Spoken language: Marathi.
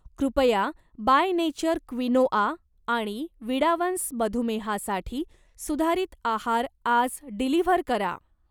कृपया बाय नेचर क्विनोआ आणि विडावन्स मधुमेहासाठी सुधारित आहार आज डिलिव्हर करा.